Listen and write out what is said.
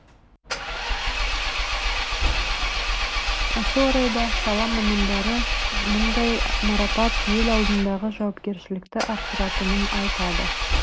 осы орайда сала мамандары мұндай марапат ел алдындағы жауапкершілікті арттыратынын айтады